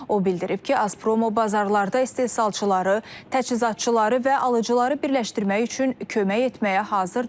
O bildirib ki, Azpromo bazarlarda istehsalçıları, təchizatçıları və alıcıları birləşdirmək üçün kömək etməyə hazırdır.